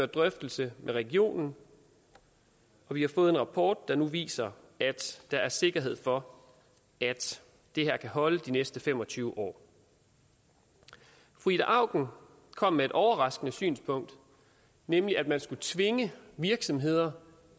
drøftelse med regionen og vi har fået en rapport der nu viser at der er sikkerhed for at det her kan holde de næste fem og tyve år fru ida auken kom med et overraskende synspunkt nemlig at man skulle tvinge virksomheder